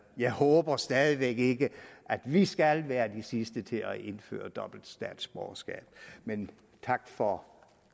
jeg håber stadig væk ikke at vi skal være de sidste til at indføre dobbelt statsborgerskab men tak for